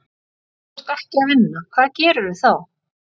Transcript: Þegar þú ert ekki að vinna, hvað gerirðu þá?